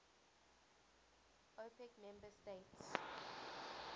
opec member states